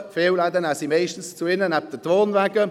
Die Fensterläden nehmen sie meist zu sich neben die Wohnwagen.